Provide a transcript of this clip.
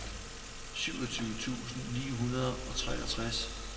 syvogtyve tusind ni hundrede og treogtres